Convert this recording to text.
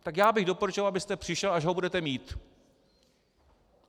Tak já bych doporučoval, abyste přišel, až ho budete mít.